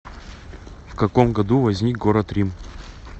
в каком году возник город рим